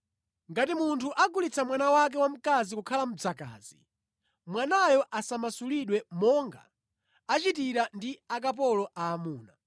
“Ngati munthu agulitsa mwana wake wamkazi kukhala mdzakazi, mwanayo asamasulidwe monga achitira ndi akapolo aamuna.